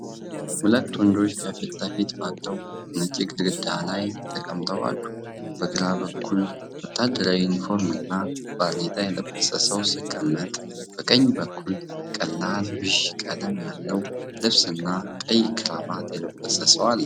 ሁለት ወንዶች ከፊት ለፊት ባለው ነጭ ግድግዳ ዳራ ላይ ተቀምጠው አሉ። በግራ በኩል፣ ወታደራዊ ዩኒፎርም እና ባርኔጣ የለበሰ ሰው ሲቀመጥ፣ በቀኝ በኩል ቀላል ቢዥ ቀለም ያለው ልብስና ቀይ ክራባት የለበሰ ሰው አለ።